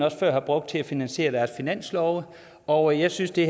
før har brugt til at finansiere deres finanslove og jeg synes det